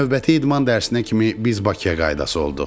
Növbəti idman dərsinə kimi biz Bakıya qaydası olduq.